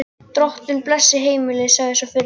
Drottinn blessi heimilið, sagði sá fyrri.